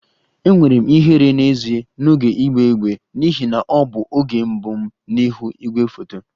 Enwere m ihere n'ezie n'oge ịgba égbè n'ihi na ọ bụ oge mbụ m n'ihu igwefoto